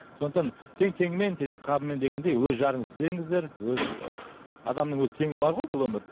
сондықтан тең теңімен тезек қабымен дегендей өз жарыңызды іздеңіздер өз ы адамның өзі теңі бар ғой бұл өмірде